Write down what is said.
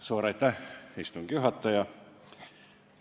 Suur aitäh, istungi juhataja!